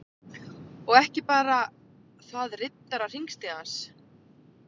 Og ekki bara þaðRiddarar_hringstigans